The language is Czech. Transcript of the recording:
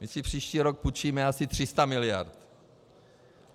My si příští rok půjčíme asi 300 mld.